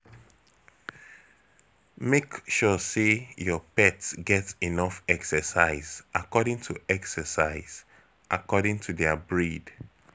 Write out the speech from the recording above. Make sure sey your pet get enough exercise, according to exercise, according to their breed.